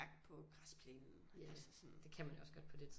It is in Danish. Jakke på græsplænen altså sådan det kan man jo også godt på det